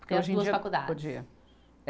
Porque hoje em dia podia.